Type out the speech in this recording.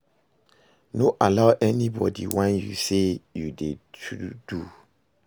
No allow anybodi whine yu sey you dey too do